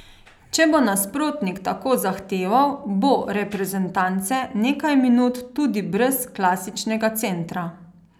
Če bo nasprotnik tako zahteval, bo reprezentance nekaj minut tudi brez klasičnega centra.